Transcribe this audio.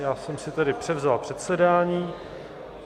Já jsem si tedy převzal předsedání.